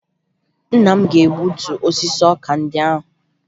Nna m ga-egutu osisi ọka ndị ahụ